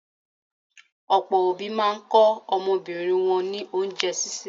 Ọ̀pọ̀ òbí máa ń kọ́ ọmọbìnrin wọn ní oúnjẹ sísè.